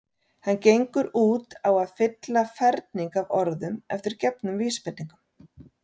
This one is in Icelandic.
Hann gengur út á að fylla ferning af orðum eftir gefnum vísbendingum.